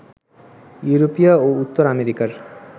ইউরোপীয় ও উত্তর আমেরিকার